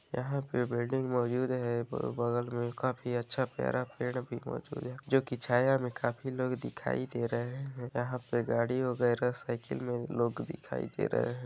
यहाँ पे बेडिंग मौजुद है प बगल में काफी अच्छा प्यारा पेड़ भी मौजुद है जो की छाया में काफी लोग दिखाई दे रहे है यहाँ पे गाड़ी वगेरा साइकिल में लोग दिखाई दे रहे है।